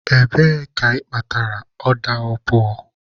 Ebee ka ị kpatara ọda opuo?